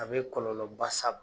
A bɛ kɔlɔlɔba s'a ma.